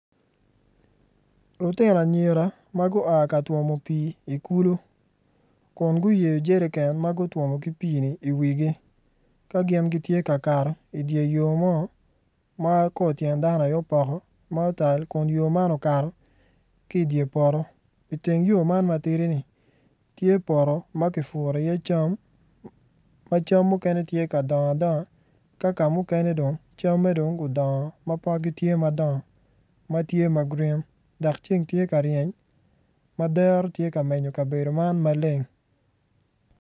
Lutino anyira ma gua ka twomo pii i kulu kun guyeyo jeriken ma gutwomo ki pii-ni iwigi ka gin gitye ka kato idye yo ma kor tyen dano aye opoko ma otal kun yo man okato ki idye poto iteng yo man matidi-ni tye poto ma kipuro iye cam ma cam mukene tye ka dongo adonga ka kamukene dong camme dong odongo ma potgi tye madongo ma tye ma grin dok ceng tye ka ryeny ma dero tye ka menyo kabedo man maleng.